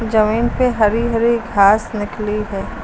जमीन पे हरी हरी घास निकली है।